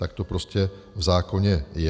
Tak to prostě v zákoně je.